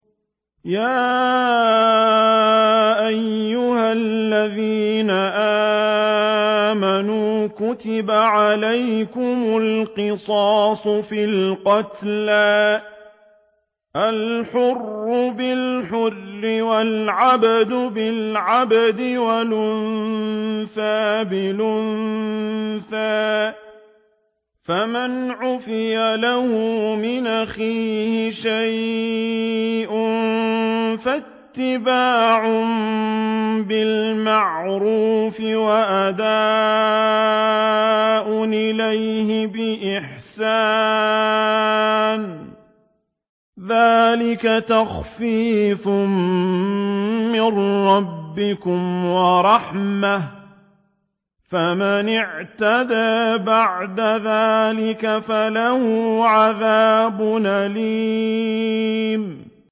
يَا أَيُّهَا الَّذِينَ آمَنُوا كُتِبَ عَلَيْكُمُ الْقِصَاصُ فِي الْقَتْلَى ۖ الْحُرُّ بِالْحُرِّ وَالْعَبْدُ بِالْعَبْدِ وَالْأُنثَىٰ بِالْأُنثَىٰ ۚ فَمَنْ عُفِيَ لَهُ مِنْ أَخِيهِ شَيْءٌ فَاتِّبَاعٌ بِالْمَعْرُوفِ وَأَدَاءٌ إِلَيْهِ بِإِحْسَانٍ ۗ ذَٰلِكَ تَخْفِيفٌ مِّن رَّبِّكُمْ وَرَحْمَةٌ ۗ فَمَنِ اعْتَدَىٰ بَعْدَ ذَٰلِكَ فَلَهُ عَذَابٌ أَلِيمٌ